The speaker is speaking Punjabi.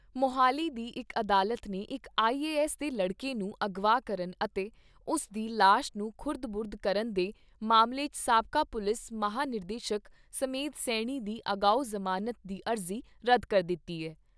ਮੁਹਾਲੀ ਦੀ ਇਕ ਅਦਾਲਤ ਨੇ ਇਕ ਆਈ ਏ ਐੱਸ ਦੇ ਲੜਕੇ ਨੂੰ ਅਗਵਾ ਕਰਨ ਅਤੇ ਉਸ ਦੀ ਲਾਸ਼ ਨੂੰ ਖੁਰਦ ਬੁਰਦ ਕਰਨ ਦੇ ਮਾਮਲੇ 'ਚ ਸਾਬਕਾ ਪੁਲਿਸ ਮਹਾਂਨਿਰਦੇਸ਼ਕ ਸਮੇਧ ਸੈਣੀ ਦੀ ਅਗਾਓ ਜ਼ਮਾਨਤ ਦੀ ਅਰਜ਼ੀ ਰੱਦ ਕਰ ਦਿੱਤੀ ਏ।